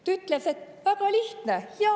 Ta ütles: "Väga lihtne!